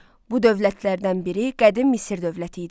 Bu dövlətlərdən biri Qədim Misir dövləti idi.